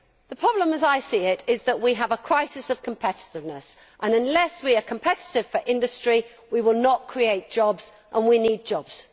The problem, as I see it, is that we have a crisis of competiveness unless we are competitive in industry we will not create jobs, and we need jobs.